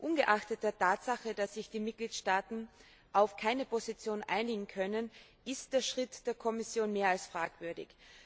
Ungeachtet der Tatsache, dass sich die Mitgliedstaaten auf keine Position einigen können, ist der Schritt der Kommission mehr als fragwürdig.